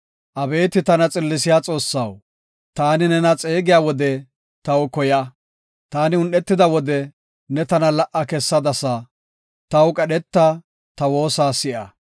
Abeeti tana xillisiya Xoossaw, taani nena xeegiya wode taw koya. Taani un7etida wode ne tana la77a kessadasa; taw qadheta; ta woosa si7a.